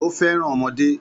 Ó fẹ́ràn ọmọdé